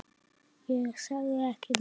Ég sagði ekki neitt.